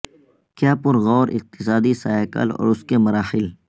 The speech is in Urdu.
کیا پر غور اقتصادی سائیکل اور اس کے مراحل